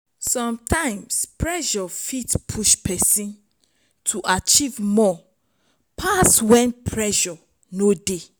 sometimes pressure fit push person to achive more pass when pressure no dey